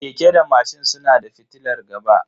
Keke da mashin suna da fitilar gaba.